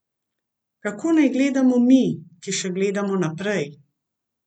Kako naj gledamo mi, ki še gledamo naprej?